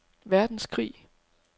verdenskrig